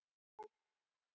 Þetta vissi ég.